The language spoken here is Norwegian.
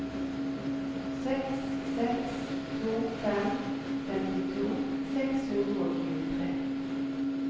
seks seks to fem femtito seks hundre og tjuetre